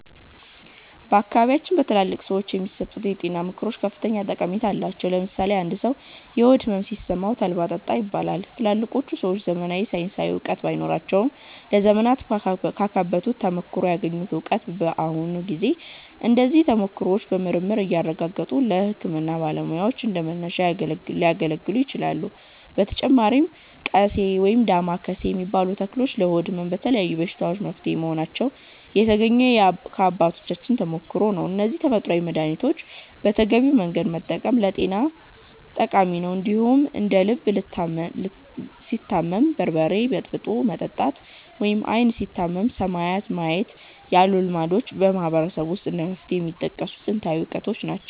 በአካባቢያችን በትላልቅ ሰዎች የሚሰጡ የጤና ምክሮች ከፍተኛ ጠቀሜታ አላቸው። ለምሳሌ አንድ ሰው የሆድ ሕመም ሲሰማው 'ተልባ ጠጣ' ይባላል። ትላልቆቹ ሰዎች ዘመናዊ ሳይንሳዊ እውቀት ባይኖራቸውም፣ ለዘመናት ካካበቱት ተሞክሮ ያገኙት እውቀት ነው። በአሁኑ ጊዜ እነዚህ ተሞክሮዎች በምርምር እየተረጋገጡ ለሕክምና ባለሙያዎች እንደ መነሻ እያገለገሉ ይገኛሉ። በተጨማሪም 'ቀሴ' (ወይም ዳማከሴ) የሚባሉ ተክሎች ለሆድ ሕመም እና ለተለያዩ በሽታዎች መፍትሄ መሆናቸው የተገኘው ከአባቶቻችን ተሞክሮ ነው። እነዚህን ተፈጥሯዊ መድኃኒቶች በተገቢው መንገድ መጠቀም ለጤና ጠቃሚ ነው። እንደዚሁም እንደ 'ልብ ሲታመም በርበሬ በጥብጦ መጠጣት' ወይም 'ዓይን ሲታመም ሰማይን ማየት' ያሉ ልማዶችም በማህበረሰቡ ውስጥ እንደ መፍትሄ የሚጠቀሱ ጥንታዊ እውቀቶች ናቸው።